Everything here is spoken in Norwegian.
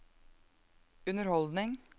underholdning